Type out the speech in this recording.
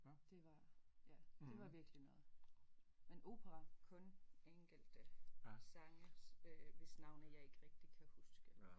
Det var ja det var virkelig noget men opera kun enkelte sange hvis navne jeg ikke rigtig kan huske